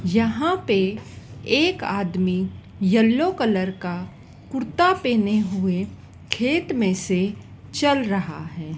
यहाँ पे एक आदमी येलो कलर का कुर्ता पहने हुए खेत में से चल रहा है।